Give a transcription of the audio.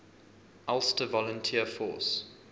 ulster volunteer force